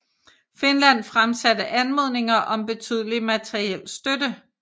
Finland fremsatte anmodninger om betydelig materiel støtte